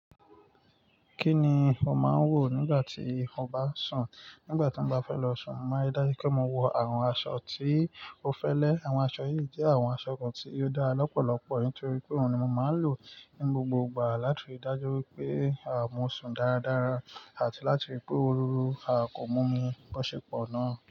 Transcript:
Kí ni o máa ń wọ̀ nígbà tí o bá sùn? Nígbà tí mo bá fẹ́ lọ sùn, mo máa ń ri dájú pé mo wọ awọn aṣọ tí ó fẹ́lẹ́. Àwọn aṣọ yìí jẹ́ àwọn aṣọ kan tí ó dára lọ́pọ̀lọpọ̀ nítorí pé òun ni mo máa ń lò ní gbogbo ìgbà láti dájú wípé, à, mo sùn dáradára àti láti ríi pé òróró à kò mú mi bọ́ṣepọ̀ náà.